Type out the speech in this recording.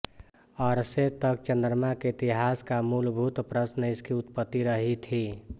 अरसे तक चंद्रमा के इतिहास का मूलभूत प्रश्न इसकी उत्पत्ति रही थी